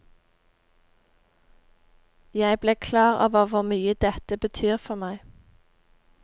Jeg ble klar over hvor mye dette betyr for meg.